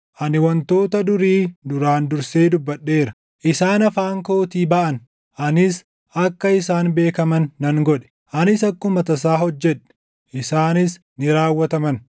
Ani wantoota durii duraan dursee dubbadheera; isaan afaan kootii baʼan; 1 anis akka isaan beekaman nan godhe; anis akkuma tasaa hojjedhe; isaanis ni raawwataman.